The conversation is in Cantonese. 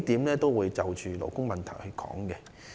我會就數項勞工問題發言。